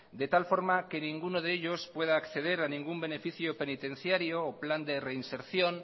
de tal forma que ninguno de ellos pueda acceder a ningún beneficio penitenciario o plan de reinserción